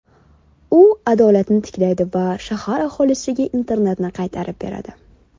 U adolatni tiklaydi va shahar aholisiga Internetni qaytarib beradi.